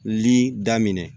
Lili daminɛ